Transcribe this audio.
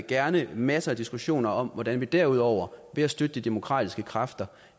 gerne masser af diskussioner om hvordan vi derudover ved at støtte de demokratiske kræfter